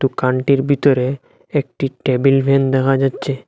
দোকানটির বিতরে একটি টেবিল ফ্যান দেখা যাচচে।